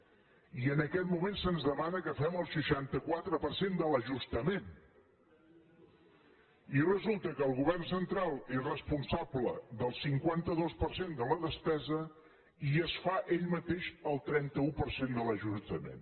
i en aquest moment se’ns demana que fem el seixanta quatre per cent de l’ajustament i resulta que el govern central és responsable del cinquanta dos per cent de la despesa i es fa ell mateix el trenta un per cent de l’ajustament